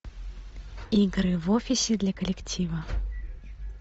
игры в офисе для коллектива